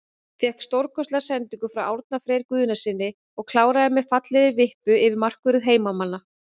Fékk stórkostlega sendingu frá Árna Frey Guðnasyni og kláraði með fallegri vippu yfir markvörð heimamanna.